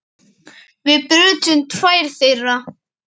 Við brutum tvær þeirra.